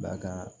Dakan